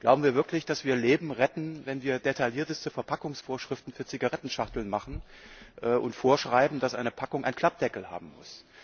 Glauben wir wirklich, dass wir Leben retten, wenn wir detaillierteste Verpackungsvorschriften für Zigarettenschachteln machen und vorschreiben, dass eine Packung einen Klappdeckel haben muss?